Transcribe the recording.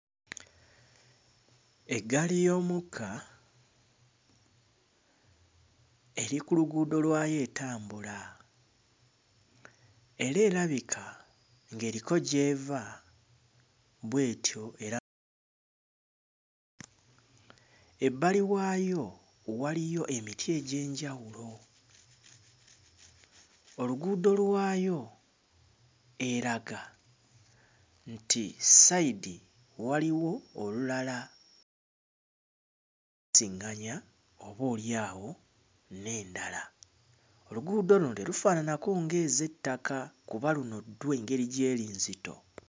Eggaali y'omukka eri ku luguudo lwayo etambula era erabika ng'eriko gy'eva bwetyo era, ebbali waayo waliyo emiti egy'enjawulo, oluguudo lwayo eraga nti ssayidi waliwo olulala siŋŋanya obalyawo n'endala, oluguudo luno terufaananako ng'ez'ettaka kuba luno ddwo engeri gy'eri enzito.